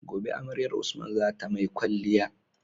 Gobe amaryar usman zata mai kwaliya